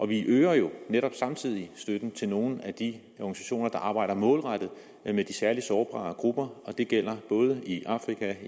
vi øger jo netop samtidig støtten til nogle af de organisationer der arbejder målrettet med de særlig sårbare grupper og det gælder både i afrika